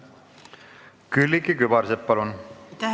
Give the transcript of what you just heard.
Külliki Kübarsepp, palun!